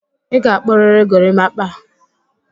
Ị ga-akpụrịrị gorimakpa!